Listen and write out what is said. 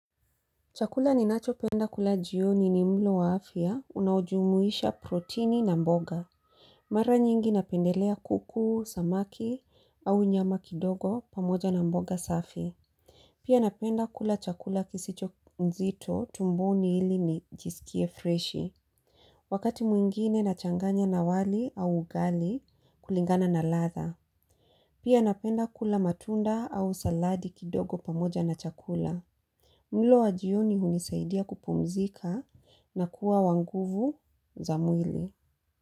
Chakula ninachopenda kula jioni ni mlo wa afya unaojumuisha protini na mboga. Mara nyingi napendelea kuku, samaki au nyama kidogo pamoja na mboga safi. Pia napenda kula chakula kisicho mzito tumboni ili nijisikie freshi. Wakati mwingine nachanganya na wali au ugali kulingana na latha. Pia napenda kula matunda au saladi kidogo pamoja na chakula. Mlo wa jioni hunisaidia kupumzika na kuwa wa nguvu za mwili.